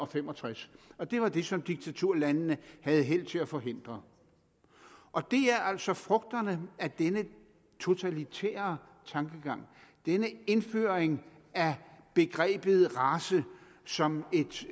fem og tres og det var det som diktaturlandene havde held til at forhindre og det er altså frugterne af denne totalitære tankegang denne indføring af begrebet race som et